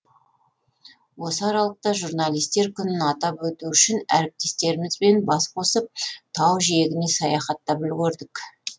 осы аралықта журналистер күнін атап өту үшін әріптестерімізбен бас қосып тау жиегіне саяхаттап үлгердік